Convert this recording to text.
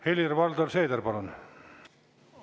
Helir-Valdor Seeder, palun!